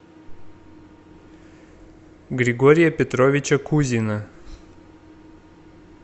григория петровича кузина